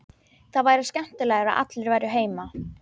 Það væri skemmtilegra að allir væru heima.